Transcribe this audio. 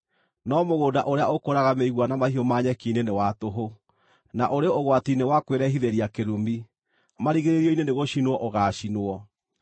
No mũgũnda ũrĩa ũkũraga mĩigua na mahiũ ma nyeki-inĩ nĩ wa tũhũ, na ũrĩ ũgwati-inĩ wa kwĩrehithĩria kĩrumi. Marigĩrĩrio-inĩ nĩgũcinwo ũgaacinwo.